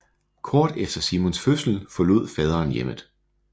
Kort efter Simons fødsel forlod faderen hjemmet